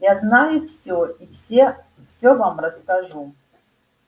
я знаю всё я все всё вам расскажу